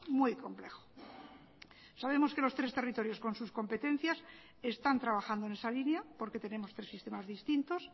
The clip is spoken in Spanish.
muy complejo sabemos que los tres territorios con sus competencias están trabajando en esa línea porque tenemos tres sistemas distintos